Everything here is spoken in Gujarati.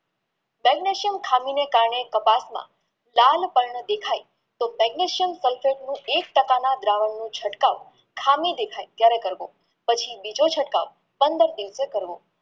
Magnesium થાનુંને કારણે કપાસમાં લાલ પણ દેખાય તો magnesium નું વિષ ટકાના દ્રાવણનું ચટકાવ ખામી દેખાય ત્યરે કરવું પછી બીજો ચટકાવ પંદર દિવસે કરવો